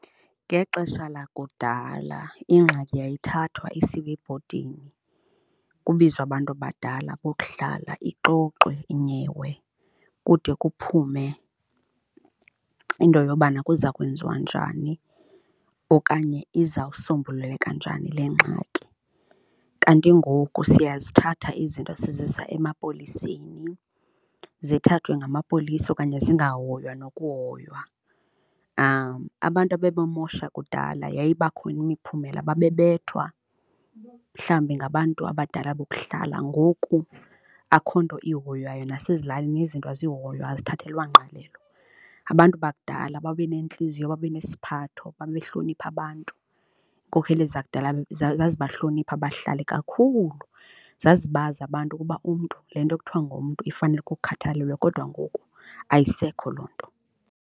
Ngexesha lakudala ingxaki yayithathwa isiwe ebhodini, kubizwe abantu abadala bokuhlala ixoxwe inyewe kude kuphume into yobana kuza kwenziwa njani okanye izawusombululeka njani le ngxaki. Kanti ngoku siyazithatha izinto sizisa emapoliseni, zithathwe ngamapolisa okanye zingahoywa nokuhoywa. Abantu ababemosha kudala yayiba khona imiphumela, babebethwa mhlawumbi ngabantu abadala bokuhlala ngoku akukho nto ihoywayo nasezilalini yezinto azihoywa, azithathelwa ngqalelo. Abantu bakudala babe nentliziyo babe nesiphatho babehlonipha abantu, iinkokheli zakudala zazibahlonipha abahlali kakhulu, zazibazi abantu ukuba umntu, le nto ekuthiwa ngumntu ifanele ukukhathalelwa kodwa ngoku ayisekho loo nto.